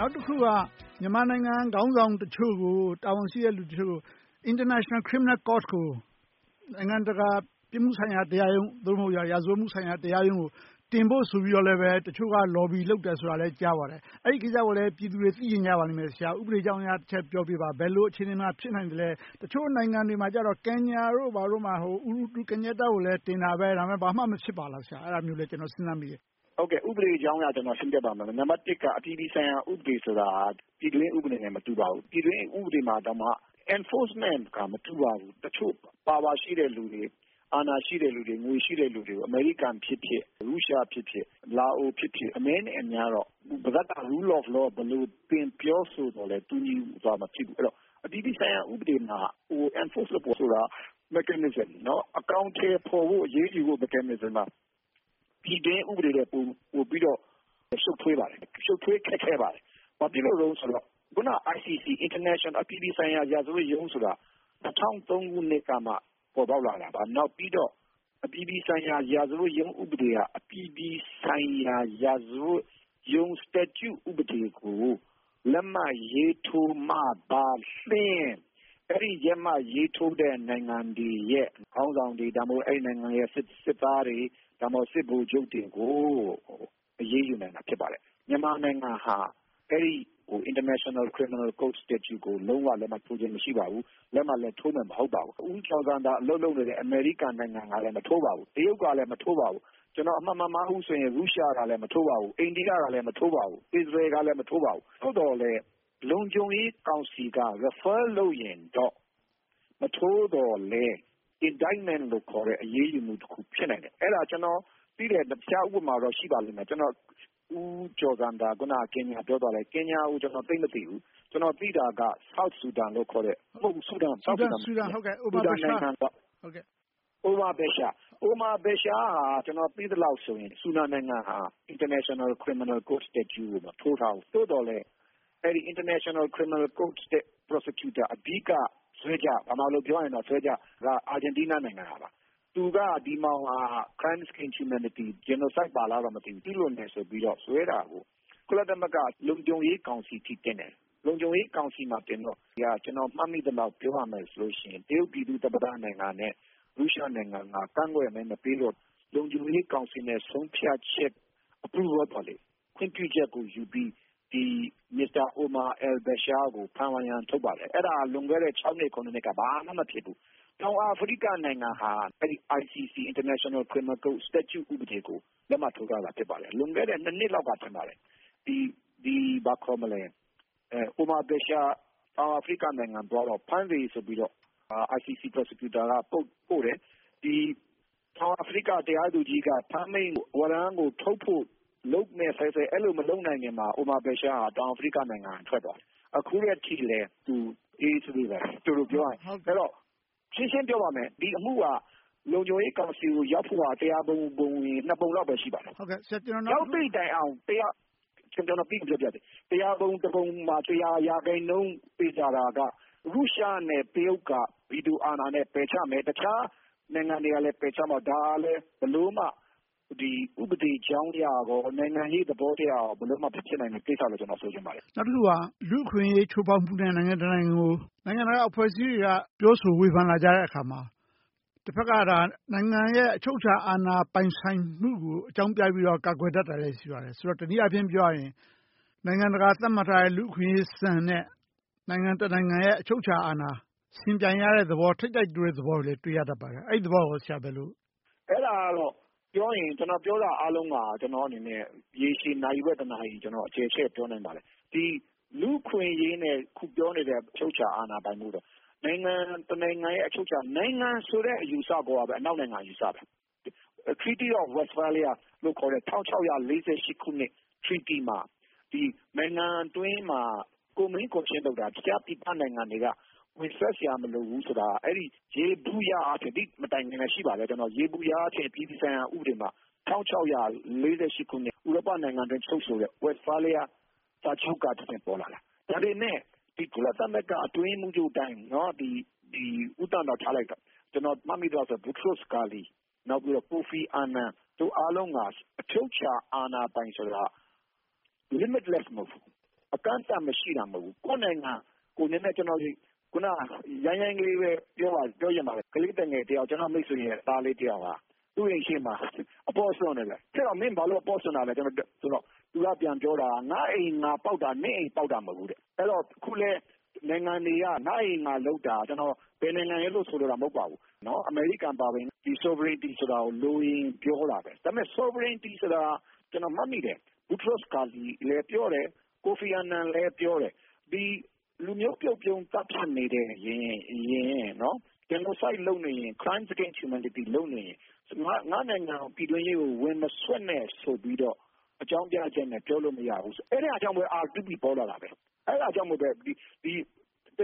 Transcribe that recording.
ောက်တခုက မြန်မာနိုင်ငံခေါင်းဆောင်တချို့ကို တာဝန်ရှိသူတချို့ကို International Criminal Court နိုင်ငံတကာ ပြစ်မှုဆိုင်ရာတရာရုံး နိုင်ငံတကာ ရာဇဝတ်မှုဆိုင်ရာတရားရုံးကို တင်ဖို့ဆိုပြီးတော့ တချို့က Lobby လုပ်နေတယ်ဆိုတာကိုလည်း ကြားပါတယ်။ အဲဒီကိစ္စကိုလည်း ပြည်သူတွေ သိချင်ကြပါလိမ့်မယ်။ ဥပဒေအကြောင်းအရ တချက်ပြောပေးပါ။ ဘယ်လိုအခြေအနေမှာ ဖြစ်နိုင်သလဲ။ တချို့နိုင်ငံတွေမှာ Kenya တို့ ဘာတို့မှာ Uhrur Kenyatta ကိုတင်တာ။ ဘာမှမဖြစ်ပါလား။ အဲဒါမျိုးလည်း ကျနော် စဉ်းစားမိတယ်။ ဥပဒေကြောင်းအရ ကျနော် ရှင်းပြပါမယ်။ နံပတ်တစ်က အပြည်ပြည်ဆိုင်ရာ ဥပဒေဆိုတာ ပြည်တွင်းဥပဒေနဲ့ မတူပါဘူး။ ပြည်တွင်းဥပဒေတောင်မှ Enforcement က မတူပါဘူး။ တချို့ Power ရှိတဲ့လူတွေ၊ အာဏာရှိတဲ့လူတွေ၊ ငွေရှိတဲ့လူတွေကို အမေရိကန်ဖြစ်ဖြစ်၊ ရုရှားဖြစ်ဖြစ်၊ လာအိုဖြစ်ဖြစ်၊ အနည်းနဲ့အများတော့ တဘက်က Rule of Law ကို ပြောဆိုသော်လဲ၊ တူညီစွာ မဖြစ်ဘူး။ အဲဒီတော့ အပြည်ပြည်ဆိုင်ရာ ဥပဒေမှာ Enforce လုပ်ဖို့ဆိုတာ Mechanism အကောင်အထည်ဖော်ဖို့၊ အရေးယူဖို့ Mechanism မှာ ပြည်တွင်းဥပဒေနဲ့ ပိုပြီးတော့ ရှုပ်ထွေးပါတယ်။ ရှုပ်ထွေးခက်ခဲပါတယ်။ ဘာဖြစ်လို့လဲဆိုတော့ အခုန ICC အပြည်ပြည်ဆိုင်ရာ ရာဇဝတ်ရုံးဆိုတာ ၂၀၀၃ ခုနှစ်ကမှ ပေါ်ပေါက်လာတာပါ။ နောက်ပြီးတော့ အပြည်ပြည်ဆိုင်ရာ ရာဇဝတ်ရုံး ဥပဒေက အပြည်ပြည်ဆိုင်ရာ ရာဇဝတ်ရုံး Statue ဥပဒေကို လက်မှတ်ရေးထိုးမှသာလျှင် အဲဒီ လက်မှတ်ရေးထိုးတဲ့ နိုင်ငံတွေရဲ့ ခေါင်းဆောင်တွေ၊ ဒါမှမဟုတ် အဲဒီနိုင်ငံရဲ့ စစ်သားတွေ၊ စစ်ဗိုလ်ချုပ်တွေကို အရေးယူနိုင်တာ ဖြစ်ပါတယ်။ မြန်မာနိုင်ငံဟာ အဲဒီ International Criminal Court Statute ကို လုံးဝလက်မှတ်ရေးထိုးထားခြင်း မရှိပါဘူး။ လက်မှတ်လည်း ထိုးမှာ မဟုတ်ပါဘူး။ ဦးကျော်ဇံသာ အလုပ်လုပ်နေတဲ့ အမေရိကန်နိုင်ငံကလည်း မထိုးပါဘူး။ တရုတ်ကလည်း မထိုးပါဘူး။ ကျနော် အမှတ်မမှားဘူးဆိုရင် ရုရှားကလည်း မထိုးပါဘူး။ အိန္ဒိယကလည်း မထိုးပါဘူး။ အစ္စရေးလ်ကလည်း မထိုးပါဘူး။ သို့သော်လဲ လုံခြုံရေးကောင်စီက Refer လုပ်ရင်တော့ မထိုးသော်လဲ Indictment လို့ခေါ်တဲ့ အရေးယူမှုတခု ဖြစ်နိုင်တယ်။ အဲဒါ ကျနော်သိတဲ့ တခြားဥပမာတော့ ရှိပါလိမ့်မယ်။ ဦးကျော်ဇံသာ အခုန ကင်ညာကို ပြောသွားတယ်။ ကင်ညာကို ကျနော် သိပ်မသိဘူး။ ကျနော် သိတာက South Sudan လို့ခေါ်တဲ့ မဟုတ်ဘူး Sudan နိုင်ငံက Omar Basher ဟာ ကျနော် သိသလောက်ဆိုရင် Sudan နိုင်ငံဟာ International Criminal Court Statute ကို မထိုးထားဘူး။ သို့သော်လဲ International Criminal Court ရဲ့ Argentine Prosecutor Moreno-Ocampo က Crimes against Humanity နဲ့ Genocide ပါလား မသိဘူး ကျူးလွန်တယ်ဆိုပြီးတော့ တရားစွဲတာကို ကုလသမဂ္ဂ လုံခြုံရေးကောင်စီအထိ တင်တယ်။ လုံခြုံရေးကောင်စီမှာတင်တော့ ကျနော် မှတ်မိသလောက် ပြောရမယ်ဆိုရင် တရုတ်ပြည်သူ့သမ္မတနိုင်ငံနဲ့ ရုရှားနိုင်ငံက ကန့်ကွက်မဲ မပေးတော့ လုံခြုံရေးကောင်စီရဲ့ ဆုံးဖြတ်ချက် Approval ခွင့်ပြုချက်ကိုယူပြီး Mr. Omar al-Bashir ကို ဖမ်းဝရမ်း ထုတ်ပါတယ်။ အဲဒါက လွန်ခဲ့တဲ့ နှစ်၊ နှစ်က ဘာမှမဖြစ်ဘူး။ တောင်အာဖရိကနိုင်ငံဟာ အဲဒီ ICC statute ဥပဒေကို လက်မှတ်ထိုးထားတာ ဖြစ်ပါတယ်။ လွန်ခဲ့တဲ့ နှစ်လောက်က ထင်ပါတယ်။ Omar al-Bashir တောင်အာဖရိကနိုင်ငံသွားတော့ ဖမ်းစေဆိုပြီးတော့ ICC Prosecutor က Code ပို့တယ်။ တောင်အာဖရိက တရားသူကြီးက ဖမ်းမိန့်ဝရမ်းကို ထုတ်မယ့်ဆဲဆဲ အဲဒီလို မလုပ်နိုင်ခင်မှာ Omar al-Bashir က တောင်အာဖရိကနိုင်ငံက ထွက်သွားတယ်။ အခုထက်ထိလဲ သူ အေးအေးဆေးဆေးပဲ.. တိုတိုပြောရရင်။ အဲဒီတော့ ရှင်းရှင်းပြောပါမယ် ဒီအမှုက လုံခြုံရေးကောင်စီကို ရောက်ဖို့ဟာ တစ်ရာပုံပုံရင် နှစ်ပုံလောက်ပဲ ရှိပါတယ်။ ရောက်သည့်တိုင်အောင် တစ်ရာပုံတပုံမှာ တစ်ရာရာခိုင်နှုန်း သေချာတာက ရုရှားနဲ့ တရုတ်တို့က ဗီတိုအာဏာနဲ့ ပယ်ချမယ်။ တခြားနိုင်ငံတွေကလည်း ပယ်ချလိမ့်မယ်။ ဒါကလဲ ဘယ်လိုမှ ဥပဒေကြောင်းအရကော၊ နိုင်ငံရေးသဘောတရားအရကော ဘယ်လိုမှ မဖြစ်နိုင်တဲ့ကိစ္စလို့ ဆိုချင်ပါတယ်။ နောက်တခုက လူ့အခွင့်အရေး ချိုးဖောက်မှုနဲ့ နိုင်ငံတနိုင်ငံကို နိုင်ငံတကာအဖွဲ့အစည်းတွေက ပြောဆိုဝေဖန်လာကြတဲ့အခါမှာ တဘက်က နိုင်ငံရဲ့ အချုပ်အခြာအာဏာ ပိုင်ဆိုင်မှုကို အကြောင်းပြပြီးတော့ ကာကွယ်ကြတာ ရှိပါတယ်။ ဆိုတော့ တနည်းအားဖြင့်ပြောရရင် နိုင်ငံတကာ သတ်မှတ်ထားတဲ့ လူ့အခွင့်အရေးစံနဲ့ နိုင်ငံတနိုင်ငံရဲ့ အချုပ်အခြာအာဏာ ယှဉ်ပြိုင်ရတဲ့သဘော၊ ထိပ်တိုက်တိုးတဲ့ သဘောတွေလည်း တွေ့ရတတ်ပါတယ်။ အဲဒီသဘောကို ဆရာ ဘယ်လိုမြင်ပါလဲ။ အဲဒါကတော့ ကျနော်ပြောတာအားလုံးက ရေရှည် နာရီဝက်၊ တနာရီလောက် အကျယ်ချဲ့ ပြောနိုင်ပါတယ်။ လူ့အခွင့်အရေးနဲ့ အခုပြောနေတဲ့ အချုပ်အခြာအာဏာပိုင်မှုက နိုင်ငံတနိုင်ငံရဲ့ အချုပ်အခြာအာဏာ။ နိုင်ငံဆိုတဲ့ အယူအဆကိုကပဲ အနောက်နိုင်ငံ အယူအဆပဲ။ Treaty of Westphalia လို့ခေါ်တဲ့ ၁၆၄၈ ခုနှစ် Treaty မှာ နိုင်ငံတွင်းမှာ တခြားပြည်ပနိုင်ငံတွေက ဝင်စွက်ဖက်စရာ မလိုဘူးဆိုတာ ယေဘုယျအားဖြင့် အဲဒီမတိုင်ခင်လဲ ရှိပါတယ်။ ယေဘုယျအားဖြင့် အပြည်ပြည်ဆိုင်ရာ ဥပဒေမှာ ၁၆၄၈ ခုနှစ်မှာ ဥရောပနိုင်ငံတွေအတွင်း ချုပ်ဆိုတဲ့ Westphalia စာချုပ်ကတဆင့် ပေါ်လာတာ။ ဒါပေမဲ့ ကုလသမဂ္ဂအတွင်းရေးမှူးချုပ်တိုင်း ဦးသန့်တော့ ထားလိုက်တော့ ကျနော် မှတ်မိသလောက်ဆိုရင် Boutros Boutros-Ghali, နောက်ပြီးတော့ Kofi Annan တို့ အားလုံးက အချုပ်အခြာအာဏာပိုင်ဆိုတာ Limitless မဟုတ်ဘူး။ အကန့်အသတ် မရှိတာမဟုတ်ဘူး။ ကိုယ့်နိုင်ငံ နည်းနည်းရိုင်းရိုင်းကလေးပဲ ပြောချင်ပါတယ် ကလေးသူငယ်တယောက် ကျနော့်မိတ်ဆွေရဲ့ သားလေးတယောက်ဟာ သူ့အိမ်ရှေ့မှာ အပေါ့စွန့်နေတယ်။ ဟေ့ကောင် မင်း ဘာလို့ အပေါ့စွန့်နေလဲဆိုတော့… သူက ပြန်ပြောတာ ငါ့အိမ် ငါပေါက်တာ နင့်အိမ်ပေါက်တာ မဟုတ်ဘူးတဲ့။ အဲဒီတော့ အခုလဲ နိုင်ငံတွေက ငါ့အိမ် ငါလုပ်တာ ကျနော် ဘယ်နိုင်ငံရယ်လို့ ဆိုလိုတာ မဟုတ်ပါဘူး။ အမေရိကန်အပါအဝင် Sovereignty ဆိုတာကို လိုရင်ပြောတာပဲ။ ဒါပေမဲ့ Sovereignty ဆိုတာ ကျနော် မှတ်မိတယ် Boutros Boutros-Ghali လည်း ပြောတယ်။ Kofi Annan လည်းပြောတယ်။ လူမျိုးပြုတ်ဖြုန်းသတ်ဖြတ်နေတယ်။ Genocide လုပ်နေရင် Crimes against Humanity လုပ်နေရင် ငါ့နိုင်ငံ ပြည်တွင်းရေးကို ဝင်မစွက်နဲ့ ဆိုပြီးတော့ အကြောင်းပြချက်နဲ့ ပြောလို့မရဘူး။ အဲဒါကြောင့်လဲ R2P ပေါ်လာတာဖြစ်တယ်။ အဲဒါကြောင့်ပဲ တ